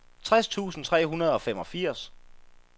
tres tusind tre hundrede og femogfirs